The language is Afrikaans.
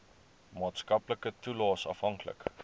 maatskaplike toelaes afhanklik